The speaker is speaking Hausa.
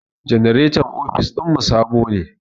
Janaretan ofis ɗin mu sabo ne.